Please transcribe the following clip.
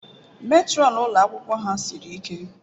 Matron ụlọ akwụkwọ ha siri ike.